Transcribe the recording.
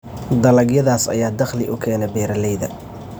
Dalagyadaas ayaa dakhli u keena beeralayda.